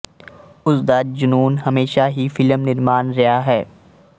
ਉਸਦਾ ਜਨੂੰਨ ਹਮੇਸ਼ਾ ਹੀ ਫਿਲਮ ਨਿਰਮਾਣ ਰਿਹਾ ਹੈ